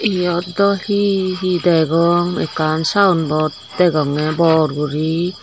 eyot doo he he degong ekan sayenbot degonge bor guri.